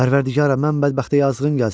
Pərvərdigara, mən bədbəxtə yazığın gəlsin!